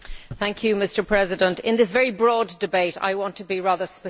Mr President, in this very broad debate I want to be rather specific.